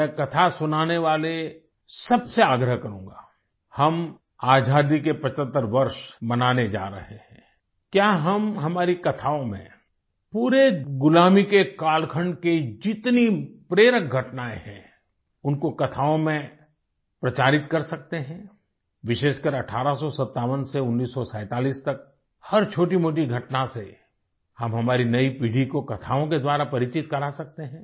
मैं कथा सुनाने वाले सबसे आग्रह करूँगा हम आज़ादी के 75 वर्ष मनाने जा रहें हैं क्या हम हमारी कथाओं में पूरे गुलामी के कालखंड की जितनी प्रेरक घटनाएं हैं उनको कथाओं में प्रचारित कर सकते हैं विशेषकर 1857 से 1947 तक हर छोटीमोटी घटना से अब हमारी नयी पीढ़ी को कथाओं के द्वारा परिचित करा सकते हैं